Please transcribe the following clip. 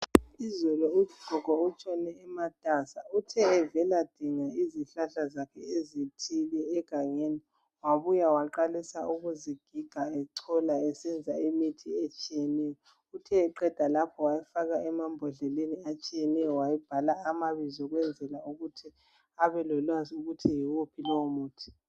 Izolo ugogo utshone ematasa uthe evela dinga izihlahla zakhe ezithile egangeni wabuya waqalisa ukuzigiga echola esenza imithi etshiyeneyo .Uthe eqeda lapho wayifaka emambodleleni etshiyeneyo wayibhala amabizo ukwenzela ukuthi abelolwazi ukuthi yiwuphi lowo muthi.